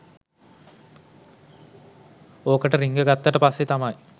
ඕකට රින්ග ගත්තට පස්සේ තමයි